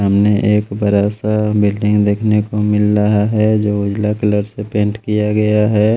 सामने एक बड़ा सा बिल्डिंग देखने को मिल रहा है जो उजला कलर से पेंट किया गया है।